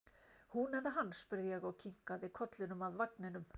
Hún eða hann? spurði ég og kinkaði kollinum að vagninum.